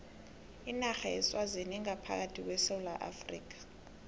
inarha yeswazini ingaphakathi kwesewula afrika